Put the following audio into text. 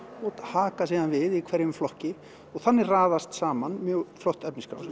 og haka síðan við í hverjum flokki og þannig raðast saman mjög flott efnisskrá